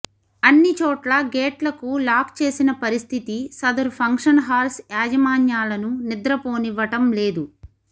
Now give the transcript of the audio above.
అన్ని చోట్ల గేట్లకు లాక్ చేసిన పరిస్థితి సదరు ఫంక్షన్ హాల్స్ యాజమాన్యాలను నిద్ర పోనివ్వటం లేదు